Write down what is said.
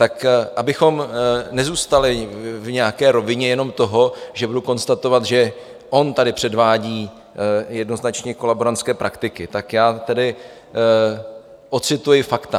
Tak abychom nezůstali v nějaké rovině jenom toho, že budu konstatovat, že on tady předvádí jednoznačně kolaborantské praktiky, tak já tedy odcituji fakta.